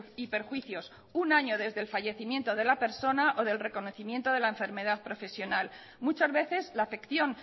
y perjuicios un año desde el fallecimiento de la persona o del reconocimiento de la enfermedad profesional muchas veces la afección